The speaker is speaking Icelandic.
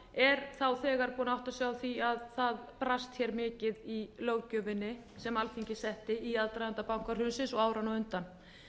er þá þegar búinn að átta sig á því að það brast mikið í löggjöfinni sem alþingi setti í aðdraganda bankahrunsins og áranna á undan